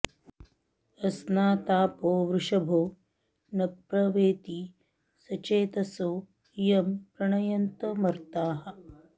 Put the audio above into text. अ॒स्ना॒तापो॑ वृष॒भो न प्र वे॑ति॒ सचे॑तसो॒ यं प्र॒णय॑न्त॒ मर्ताः॑